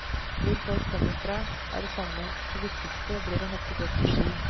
Hvor folk kommer fra er det samme, det viktigste blir å hoppe godt på ski.